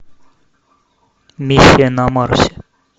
миссия на марсе